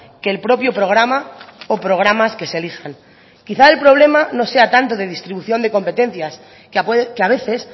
que el propio programa o programas que se elijan quizá el problema no sea tanto de distribución de competencias que a veces